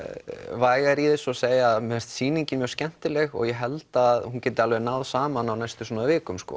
vægari í þessu og segja mér finnst sýningin mjög skemmtileg og ég held að hún geti náð saman á næstu vikum